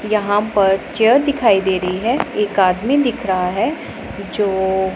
यहां पर चेयर दिखाई दे रही है एक आदमी दिख रहा है जो--